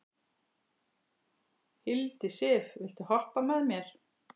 Hildisif, viltu hoppa með mér?